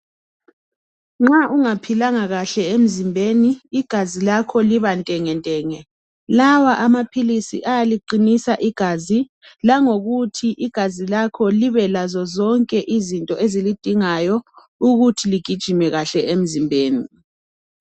Nxa ungaphilanga kahle emzimbeni igazi lakho libantengentenge. Lawa amaphilisi ayaliqinisa igazi langokuthi igazi lakho libelazozonke izinto ezilidingayo ukuthi ligijime kahle emzimbeni.